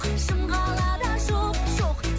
шымқалада жоқ жоқ